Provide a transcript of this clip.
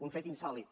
un fet insòlit